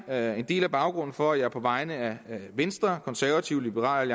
er en del af baggrunden for at jeg på vegne af venstre konservative liberal